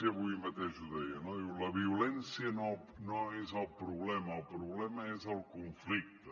avui mateix ho deia no diu la violència no és el problema el problema és el conflicte